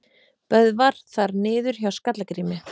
Böðvar þar niður hjá Skalla-Grími.